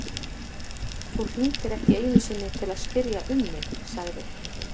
Þú hringdir ekki einu sinni til að spyrja um mig- sagði